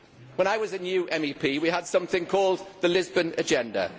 When I was a new MEP we had something called the Lisbon Agenda.